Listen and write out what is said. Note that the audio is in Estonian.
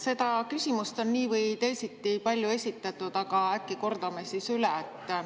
Seda küsimust on nii või teisiti palju esitatud, aga äkki kordame üle.